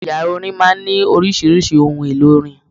Yàrá orin máa ń ní oríṣiríṣi ohun-èlò orin.